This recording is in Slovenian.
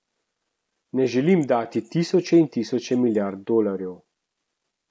Ne želim dati tisoče in tisoče milijard dolarjev.